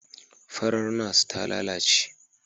Farar Nurse ta lalace